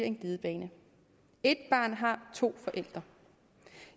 en glidebane et barn har to forældre